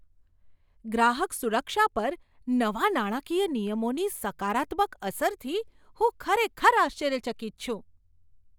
ગ્રાહક સુરક્ષા પર નવા નાણાકીય નિયમોની સકારાત્મક અસરથી હું ખરેખર આશ્ચર્યચકિત છું.